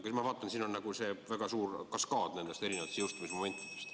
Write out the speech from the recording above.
Aga ma vaatan, et siin on väga suur kaskaad erinevaid jõustumismomente.